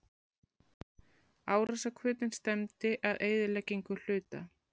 Árásarhvötin stefndi að eyðileggingu hluta.